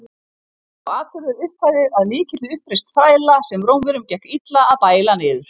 Var sá atburður upphafið að mikilli uppreisn þræla, sem Rómverjum gekk illa að bæla niður.